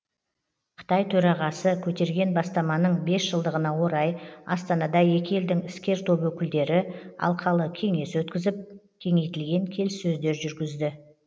қытай төрағасы көтерген бастаманың бес жылдығына орай астанада екі елдің іскер топ өкілдері алқалы кеңес өткізіп кеңейтілген келіссөздер жүргізді